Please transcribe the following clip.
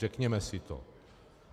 Řekněme si to.